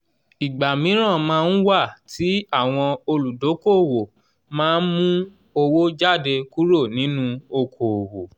ìgbà míran máa ń wà tí àwọn olùdókoòwò má mú owó jáde kúrò nínú okoòwò